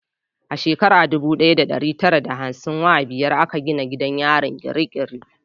A shekara dubu daya da dari tara da hamsin wa biyar a ka gina gidan yarin Kirikiri